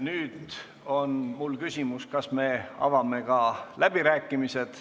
Nüüd on mul küsimus, kas me avame ka läbirääkimised.